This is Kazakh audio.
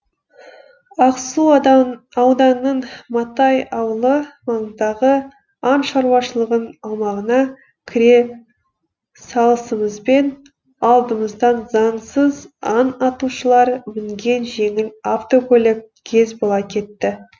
ақсу ауданының матай ауылы маңындағы аң шаруашылығының аумағына кіре салысымызбен алдымыздан заңсыз аң атушылар мінген жеңіл автокөлік кез бола кетті